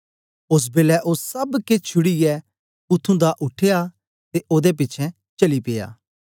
ओस बेलै ओ सब केछ छुड़ीयै उत्त्थुं दा उठया ते ओदे पिछें चली पिया